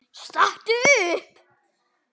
Stattu upp!